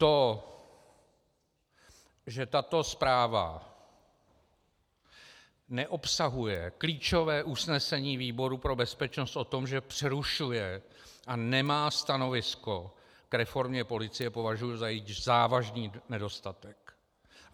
To, že tato zpráva neobsahuje klíčové usnesení výboru pro bezpečnost o tom, že přerušuje a nemá stanovisko k reformě policie, považuji za její závažný nedostatek.